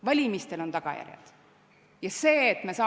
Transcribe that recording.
Valimistel on tagajärjed!